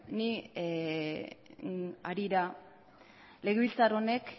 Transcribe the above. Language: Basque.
ni harira legebiltzar honek